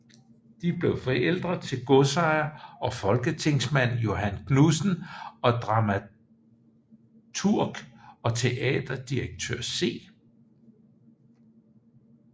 De blev forældre til godsejer og folketingsmand Johan Knudsen og dramaturg og teaterdirektør C